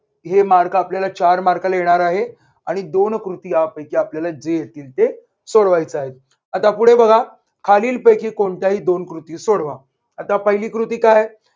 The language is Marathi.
हे मार्ग आपल्याला चार mark ला येणार आहे आणि दोन कृती यापैकी आपल्याला जे येतील ते सोडवायचे आहेत. आता पुढे बघा. खालीलपैकी कोणत्याही दोन कृती सोडवा. आता पहिली कृती काय आहे?